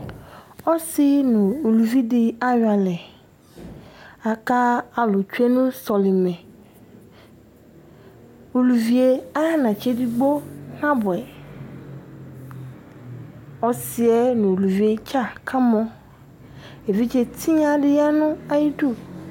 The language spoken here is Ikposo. ɔsi nʊ uluvi dɩ ayɔ alɛ, alʊ tsue nʊ solimɛ, anatsɛ edigbo nabʊɛ uluvi yɛ, ɔsi yɛ nʊ uluvi yɛ dza kamɔ, evidze tsɔ dɩ ya nʊ atamidu